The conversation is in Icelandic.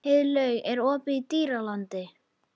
Heiðlaug, er opið í Dýralandi?